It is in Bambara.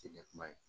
Te ɲɛ kuma ye